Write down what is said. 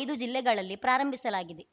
ಐದು ಜಿಲ್ಲೆಗಳಲ್ಲಿ ಪ್ರಾರಂಭಿಸಲಾಗಿದೆ